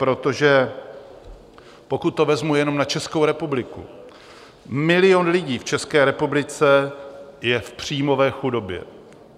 Protože pokud to vezmu jenom na Českou republiku, milion lidí v České republice je v příjmové chudobě.